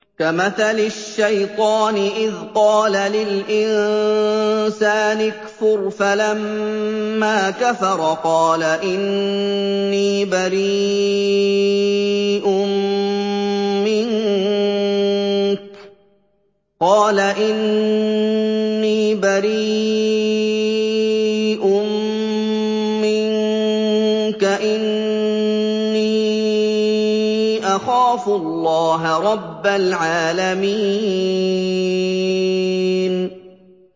كَمَثَلِ الشَّيْطَانِ إِذْ قَالَ لِلْإِنسَانِ اكْفُرْ فَلَمَّا كَفَرَ قَالَ إِنِّي بَرِيءٌ مِّنكَ إِنِّي أَخَافُ اللَّهَ رَبَّ الْعَالَمِينَ